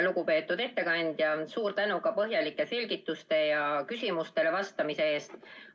Lugupeetud ettekandja, suur tänu ka põhjalike selgituste ja küsimustele vastamise eest!